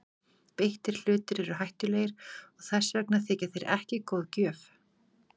Beittir hlutir eru hættulegir og þess vegna þykja þeir ekki góð gjöf.